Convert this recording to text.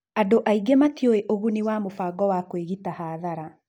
Andũ aingĩ matiũĩ ũguni wa mũbango wa kwĩgita hathara.